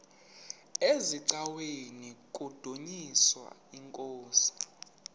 eziaweni nizidumis iinkosi